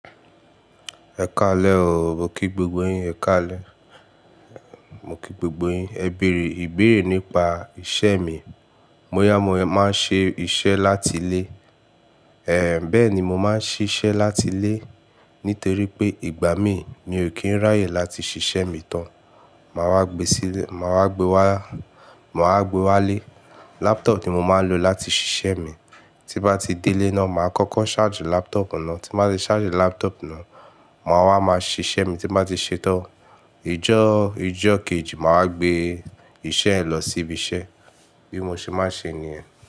Ẹ kálẹ̀ ooo, mo kí gbògbó yín, ẹ̀ kálẹ̀. Mo kí gbògbó yín, ẹ bèrè, ìbéèrè nípa iṣẹ́ mi. Mo yá, mo máa ń ṣe iṣẹ́ láti ilé. Èé, bẹ́ẹ̀ni mo máa ń ṣiṣẹ́ láti ilé nítéré pé ìgbà mìí mi ò kìí ráyè láti ṣiṣẹ́ mì tán. Màá wá gbé síle, màá wá gbe wá, màá gbe wá ilé, laptop ti mo máa ń lò láti ṣiṣẹ́ mi. Ti bá ti dé ilé náà, màá kọ́kọ́ ṣáàjù laptop náà, tí má ṣe ṣáàjù laptop náà, màá wá máa ṣe iṣẹ́ mi, tí má ṣe ṣẹ́tọ́. Ìjọ́, ìjọ́ kejì màá gbé iṣẹ́ ẹ lọ sí ibi iṣẹ́. Bí mo ṣe má ń ṣe nìyẹn.